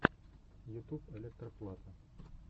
ютуб электро плата